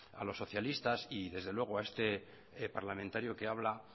a los socialistas y desde luego a este parlamentario que habla